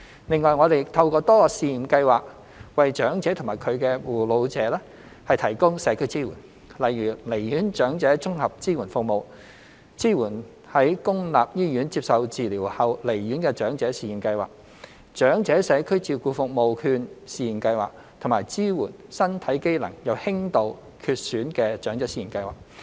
另外，我們透過多個試驗計劃為長者及其護老者提供社區支援，例如離院長者綜合支援計劃、支援在公立醫院接受治療後離院的長者試驗計劃、長者社區照顧服務券試驗計劃及支援身體機能有輕度缺損的長者試驗計劃。